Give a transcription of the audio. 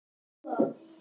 Elsku Adda mín.